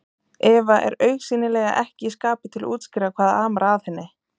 Eva er augsýnilega ekki í skapi til að útskýra hvað amar að henni.